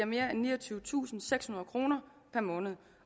mere end niogtyvetusinde og sekshundrede kroner per måned